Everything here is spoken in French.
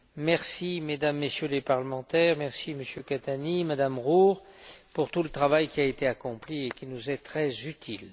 Merci, Mesdames et Messieurs les Députés, merci Monsieur Catania, Madame Roure, pour tout le travail qui a été accompli et qui nous est très utile.